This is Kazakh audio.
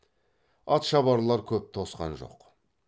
атшабарлар көп тосқан жоқ